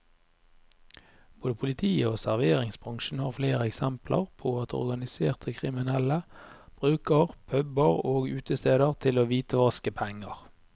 Både politiet og serveringsbransjen har flere eksempler på at organiserte kriminelle bruker puber og utesteder til å hvitvaske penger.